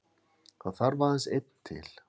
Það þarf aðeins einn til.